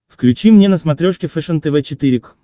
включи мне на смотрешке фэшен тв четыре к